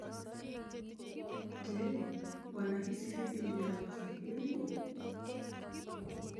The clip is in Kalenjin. Je, wanahisi vipi juu ya wazo hili?